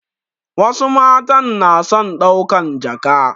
Wasu matan na son ɗaukan jaka